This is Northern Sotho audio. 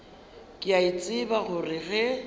ke a tseba gore ge